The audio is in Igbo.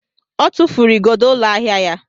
Ọ tụfuru igodo ụlọ ahịa ya.